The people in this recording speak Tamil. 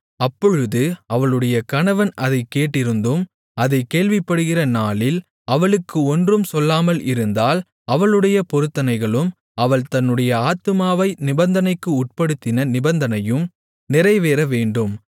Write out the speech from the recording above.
அப்பொழுது அவளுடைய கணவன் அதைக் கேட்டிருந்தும் அதைக் கேள்விப்படுகிற நாளில் அவளுக்கு ஒன்றும் சொல்லாமல் இருந்தால் அவளுடைய பொருத்தனைகளும் அவள் தன்னுடைய ஆத்துமாவை நிபந்தனைக்கு உட்படுத்தின நிபந்தனையும் நிறைவேறவேண்டும்